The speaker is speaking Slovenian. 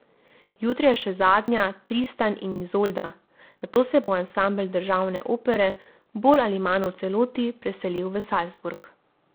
Jutri je še zadnja Tristan in Izolda, nato se bo ansambel Državne opere bolj ali manj v celoti preselil v Salzburg.